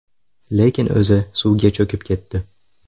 Lekin o‘zi suvga cho‘kib ketdi.